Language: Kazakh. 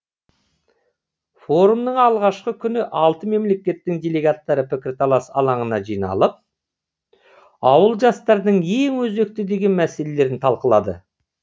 форумның алғашқы күні алты мемлекеттің делегаттары пікірталас алаңына жиналып ауыл жастарының ең өзекті деген мәселелерін талқылады